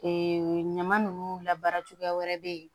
Ee ɲama ninnu labaara cogoya wɛrɛ bɛ yen